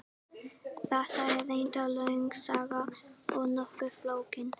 Þetta er reyndar löng saga og nokkuð flókin.